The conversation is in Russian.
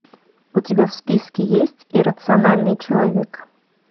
у тебя в списке есть иррациональный человек